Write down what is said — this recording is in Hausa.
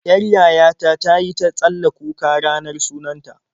Yar yaya ta ta yi ta tsalla kuka ranar sunan ta.